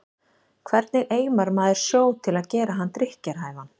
Hvernig eimar maður sjó til að gera hann drykkjarhæfan?